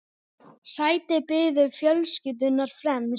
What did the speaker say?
Sæti biðu fjölskyldunnar fremst.